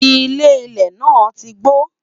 ilé ilé nà tí gbó